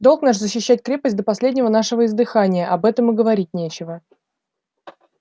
долг наш защищать крепость до последнего нашего издыхания об этом и говорить нечего